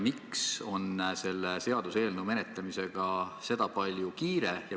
Miks on selle seaduseelnõu menetlemisega sedapalju kiire?